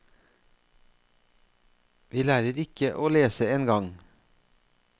Vi lærer ikke å lese engang.